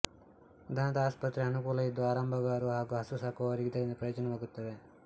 ದನದಆಸ್ಪತ್ರೆಯ ಅನುಕೂಲ ಇದ್ದು ಆರಂಬಗಾರು ಹಾಗು ಹಸು ಸಾಕುವವರಿಗೆ ಇದರಿಂದ ಪ್ರಯೊಜನವಾಗುತ್ತಿದೆ